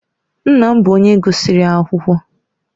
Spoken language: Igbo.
Nna m bụ onye gụsịrị akwụkwọ